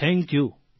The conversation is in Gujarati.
થેંક્યું